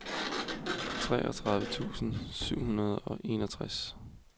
treogtredive tusind syv hundrede og enogtres